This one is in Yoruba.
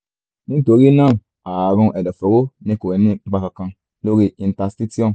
nítorí náà ààrùn ẹ̀dọ̀fóró ni kò ní ipa kankan lórí interstitium